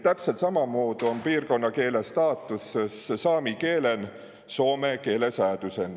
Täpselt sammamuudu om piirkonnakiile staatus saami kiilel Soome kiilesäädusen.